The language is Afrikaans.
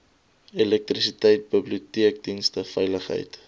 elektrisiteit biblioteekdienste veiligheid